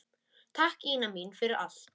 Takk, Ína mín, fyrir allt.